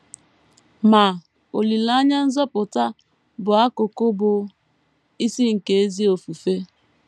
Ma, “ olileanya nzọpụta ” bụ akụkụ bụ́ isi nke ezi ofufe.